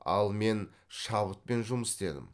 ал мен шабытпен жұмыс істедім